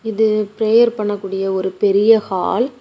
இது பிரேயர் பண்ண கூடிய ஒரு பெரிய ஹால் .